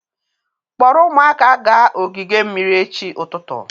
Kpọrọ ụmụaka gaa ogige mmiri echi ụtụtụ